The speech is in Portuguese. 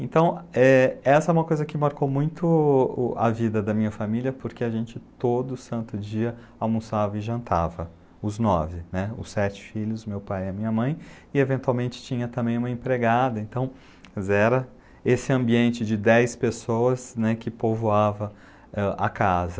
Então, é essa é uma coisa que marcou muito a vida da minha família, porque a gente todo santo dia almoçava e jantava, os nove, né, os sete filhos, meu pai e a minha mãe, e eventualmente tinha também uma empregada, então era esse ambiente de dez pessoas, né, que povoava a casa.